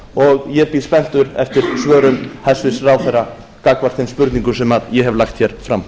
og ég bíð spenntur eftir svörum hæstvirtur ráðherra gagnvart þeim spurningum sem ég hef lagt fram